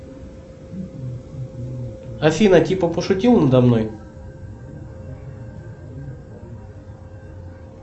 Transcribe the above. афина типа пошутил надо мной